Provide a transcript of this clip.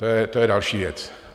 To je další věc.